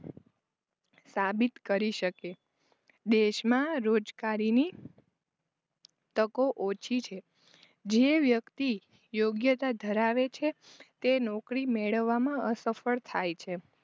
સાબિત કરી શકે દેશમાં રોજગારીની તકો ઓછી છે જે વ્યક્તિ યોગ્યતા ધરાવે છે તે નોકરી મેળવવામાં અસફળ થાય છે.